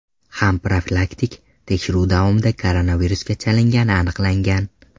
ham profilaktik tekshiruv davomida koronavirusga chalingani aniqlangan.